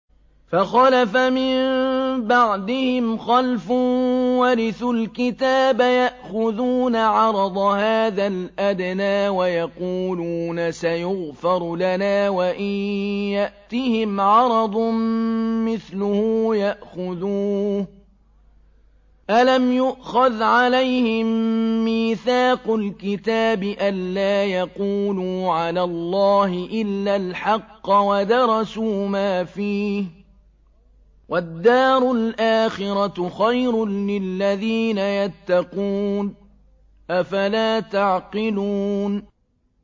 فَخَلَفَ مِن بَعْدِهِمْ خَلْفٌ وَرِثُوا الْكِتَابَ يَأْخُذُونَ عَرَضَ هَٰذَا الْأَدْنَىٰ وَيَقُولُونَ سَيُغْفَرُ لَنَا وَإِن يَأْتِهِمْ عَرَضٌ مِّثْلُهُ يَأْخُذُوهُ ۚ أَلَمْ يُؤْخَذْ عَلَيْهِم مِّيثَاقُ الْكِتَابِ أَن لَّا يَقُولُوا عَلَى اللَّهِ إِلَّا الْحَقَّ وَدَرَسُوا مَا فِيهِ ۗ وَالدَّارُ الْآخِرَةُ خَيْرٌ لِّلَّذِينَ يَتَّقُونَ ۗ أَفَلَا تَعْقِلُونَ